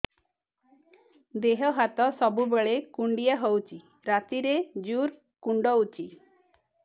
ଦେହ ହାତ ସବୁବେଳେ କୁଣ୍ଡିଆ ହଉଚି ରାତିରେ ଜୁର୍ କୁଣ୍ଡଉଚି